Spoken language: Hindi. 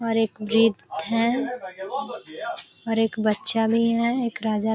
और एक गेट है और एक बच्चा भी है। एक राजा ----